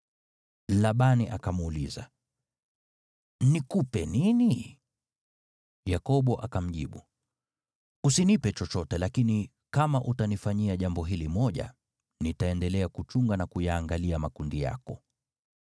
Labani akamuuliza, “Nikupe nini?” Yakobo akamjibu, “Usinipe chochote lakini kama utanifanyia jambo hili moja, nitaendelea kuchunga na kuyaangalia makundi yako.